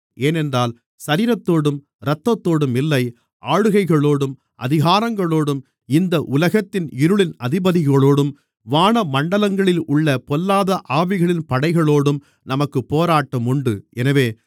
ஏனென்றால் சரீரத்தோடும் இரத்தத்தோடும் இல்லை ஆளுகைகளோடும் அதிகாரங்களோடும் இந்த உலகத்தின் இருளின் அதிபதிகளோடும் வானமண்டலங்களிலுள்ள பொல்லாத ஆவிகளின் படைகளோடும் நமக்குப் போராட்டம் உண்டு